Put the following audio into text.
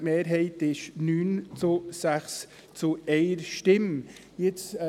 Die Mehrheit war mit 9 zu 6 zu 1 dafür.